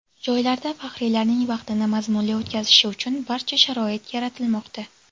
Joylarda faxriylarning vaqtini mazmunli o‘tkazishi uchun barcha sharoit yaratilmoqda.